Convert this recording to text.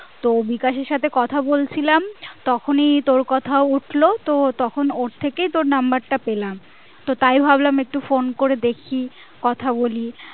তো বিকাশের সাথে কথা বলছিলাম তখনি তোর কোথাও উঠলো তো তখন ওর থেকেই তোর Number তা পেলেম তো তাই ভাবলাম একটু Phone করে দেখি কথা বলি